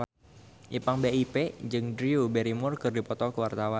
Ipank BIP jeung Drew Barrymore keur dipoto ku wartawan